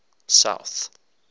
south